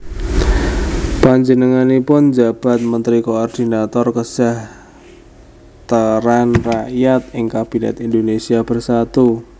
Panjenenganipun njabat Mentri Koordinator Kasajahtran Rakyat ing Kabinèt Indonésia Bersatu